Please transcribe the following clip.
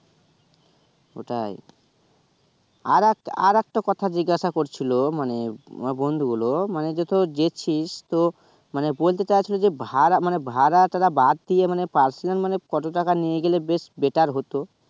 কোথায় আরেকটা আরেকটা কথা জিজ্ঞাসা করছিলো মানে আমার বন্ধু গুলো মানে যেয়েছিস তো মানে বলতে চাচ্ছে যে ভাড়া মানে ভাড়া টা বাদ দিয়ে মানে পাসে কত টাকা নিয়ে গেলে best better হত